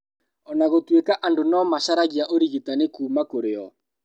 Ona gũtũika andũ no macaragia ũrigitani kuuma kurĩ o